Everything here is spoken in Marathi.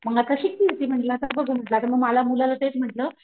मग आता शिकतीये ती म्हणलं आता बघू म मला आता मुलाला तेच म्हंटल,